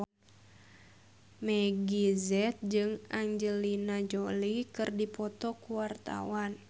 Meggie Z jeung Angelina Jolie keur dipoto ku wartawan